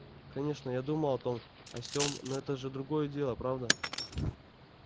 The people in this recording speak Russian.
конечно я думал о том о сем но это же другое дело правда